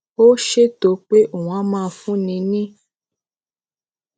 ó ṣètò pé òun á máa fúnni ní